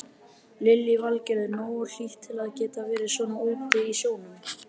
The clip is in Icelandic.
Lillý Valgerður: Nógu hlýtt til að geta verið svona úti í sjónum?